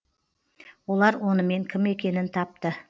олар онымен кім екенін тапты